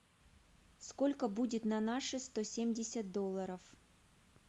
сколько будет на наши сто семьдесят долларов